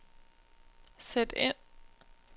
sæt ind